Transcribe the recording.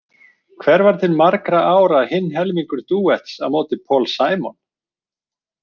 Hver var til margra ára hinn helmingur dúetts á móti Paul Simon?